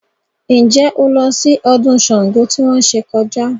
Ǹjẹ́ o lọ sí ọdún Ṣàngó tí wọ́n ṣe kọjá?